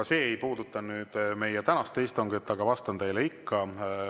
Ka see ei puuduta meie tänast istungit, aga vastan teile ikka.